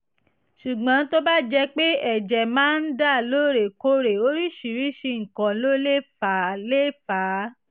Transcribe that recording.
ṣùgbọ́n tó bá jẹ́ pé ẹ̀jẹ̀ máa ń dà lóòrèkóòrè oríṣiríṣi nǹkan ló lè fà á lè fà á